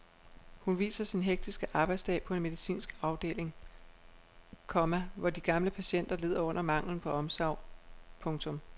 Hun viser sin hektiske arbejdsdag på en medicinsk afdeling, komma hvor de gamle patienter lider under manglen på omsorg. punktum